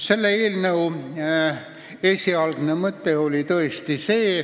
Selle oli eelnõu esialgne mõte.